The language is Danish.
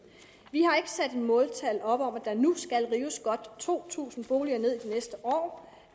vi har ikke sat måltal op om at der nu skal rives godt to tusind boliger ned i de næste år